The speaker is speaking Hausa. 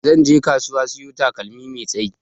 Zanje kasuwa siyo takalmi mai tsayi.